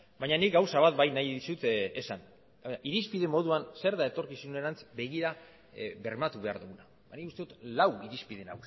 baina nik gauza bat bai nahi dizut esan irizpide moduan zer da etorkizunerantz begira bermatu behar duguna ba nik uste dut lau irizpide